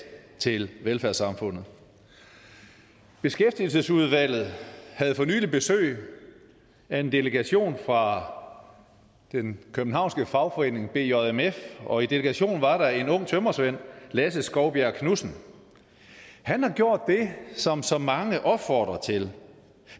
til velfærdssamfundet beskæftigelsesudvalget havde for nylig besøg af en delegation fra den københavnske fagforening bjmf og i delegationen var der en ung tømrersvend lasse skovbjerg knudsen han har gjort det som så mange opfordrer til